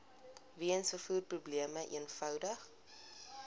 weens vervoerprobleme eenvoudig